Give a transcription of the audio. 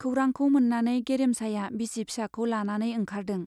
खौरांखौ मोन्नानै गेरेमसाया बिसि फिसाखौ लानानै ओंखारदों।